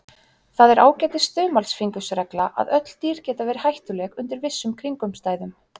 Það er ágæt þumalfingursregla að öll dýr geta verið hættuleg undir vissum kringumstæðum.